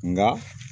Nka